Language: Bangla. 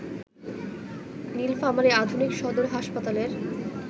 নীলফামারী আধুনিক সদর হাসপাতালের